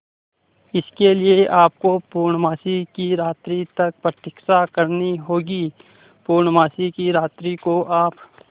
इसके लिए आपको पूर्णमासी की रात्रि तक प्रतीक्षा करनी होगी पूर्णमासी की रात्रि को आप